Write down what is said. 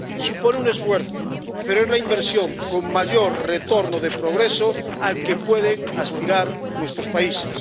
Supone un esfuerzo, pero es la inversión con mayor retorno de progreso al que pueden aspirar nuestros países.